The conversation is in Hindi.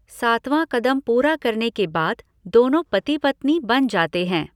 सातवां कदम पूरा करने के बाद दोनों पति पत्नी बन जाते हैं।